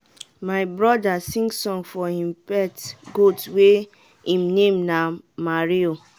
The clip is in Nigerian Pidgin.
my brother sing song for him pet goat wey him name na "mario".